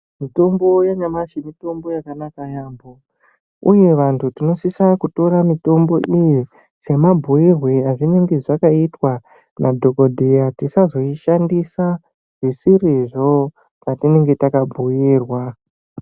Mitombo yanyamashi mitombo yakanaka yaamho uye vantu tinosise kutora mitombo iye semabhiirwe azvinenge zvakaitwa nadhokodheya tisazoshandisa zvisirizvo zvatinenge takabhuirwa nadhokodheya.